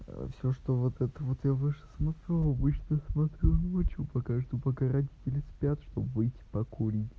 всё что вот это вот я выше смотрю обычно смотрю ночью пока жду пока родители спят чтобы выйти покури